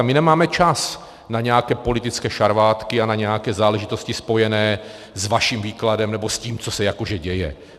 A my nemáme čas na nějaké politické šarvátky a na nějaké záležitosti spojené s vaším výkladem nebo s tím, co se jakože děje.